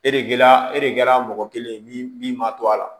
E de la e de kɛra mɔgɔ kelen ye min ma to a la